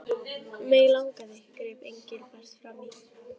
Mig langaði greip Engilbert fram í.